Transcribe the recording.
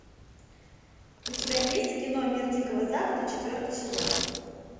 у тебя есть кино мир дикого запада четвертый сезон